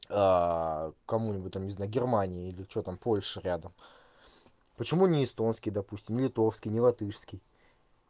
кому-нибудь там не знаю германии или что там польша рядом почему не эстонский допустим не литовский не латышский